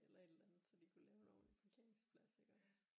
Eller et eller andet så de kunne lave en ordentlig parkeringsplads iggås